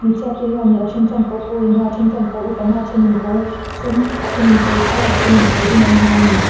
hmeichhiate hianin a then chuan kawr pawl an ha a a then chuan kawr uk an ha a a thein kawr sen a thenin tial a thenin kawr dum an ha a ni.